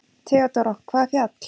THEODÓRA: Hvaða fjall?